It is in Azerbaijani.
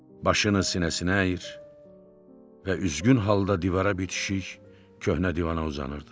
başını sinəsinə əyir və üzgün halda divara bitişik köhnə divana uzanırdı.